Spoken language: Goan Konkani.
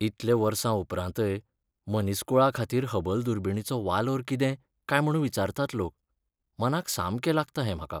इतले वर्सां उपरांतय मनीसकूळाखातीर हबल दुर्बिणीचो वालोर कितें काय म्हूण विचारतात लोक. मनाक सामकें लागता हें म्हाका.